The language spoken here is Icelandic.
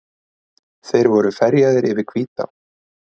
Þeir voru ferjaðir yfir Hvítá.